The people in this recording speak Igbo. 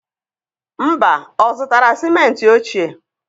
Mba, ọ zụtara sịmentị ochie?